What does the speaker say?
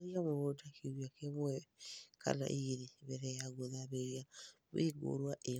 harĩrĩa mũgũnda kĩũmĩa kĩmwe kana ĩgĩrĩ mbele ya gũthamĩrĩa mĩũngũrwa ĩyo